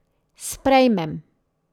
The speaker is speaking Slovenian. Sprejmem.